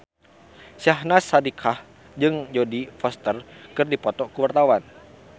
Syahnaz Sadiqah jeung Jodie Foster keur dipoto ku wartawan